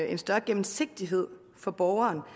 en større gennemsigtighed for borgeren